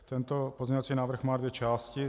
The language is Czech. Tento pozměňovací návrh má dvě části.